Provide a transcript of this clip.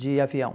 de avião.